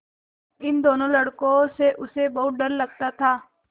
इन दोनों लड़कों से उसे बहुत डर लगता था